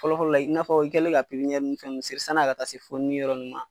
Fɔlɔ fɔlɔ la, i n'a fɔ i kɛlen ka ni fɛn nunnu seri, sanni a ka taa se fonini yɔrɔ nin ma